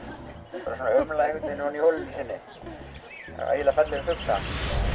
umlar ofan í holunni sinni ægilega fallegur fugl samt